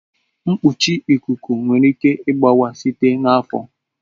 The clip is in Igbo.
Mkpuchi ikuku nwere ike ịgbawa site n'afọ.